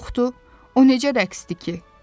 Yoxdur, o necə rəqsdir ki?